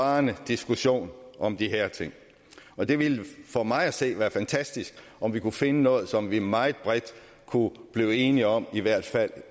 varende diskussion om de her ting og det ville for mig at se være fantastisk om vi kunne finde noget som vi meget bredt kunne blive enige om i hvert fald